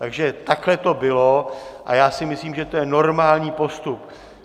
Takže takhle to bylo a já si myslím, že to je normální postup.